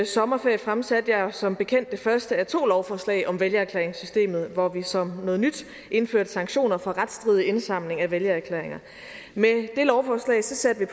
sommerferie fremsatte jeg som bekendt det første af to lovforslag om vælgererklæringssystemet hvor vi som noget nyt indførte sanktioner for retsstridig indsamling af vælgererklæringer med det lovforslag satte vi